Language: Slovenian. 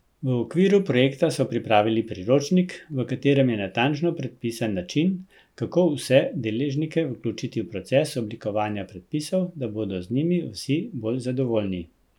V okviru projekta so pripravili priročnik, v katerem je natančno predpisan način, kako vse deležnike vključiti v proces oblikovanja predpisov, da bodo z njimi vsi bolj zadovoljni.